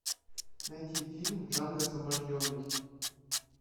найти фильм джанго освобожденный